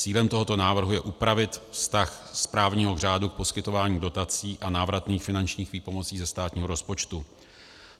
Cílem tohoto návrhu je upravit vztah správního řádu k poskytování dotací a návratných finančních výpomocí ze státního rozpočtu.